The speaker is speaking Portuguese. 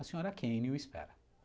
A senhora Kane o espera.